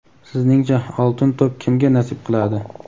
Sizningcha "Oltin to‘p" kimga nasib qiladi?.